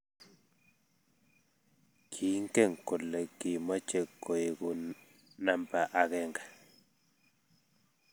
Kiinge kole kimochei koeku namba akenge.